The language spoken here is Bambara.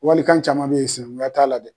Walikan caman bɛ ye sinankunya t'a la dɛ.